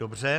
Dobře.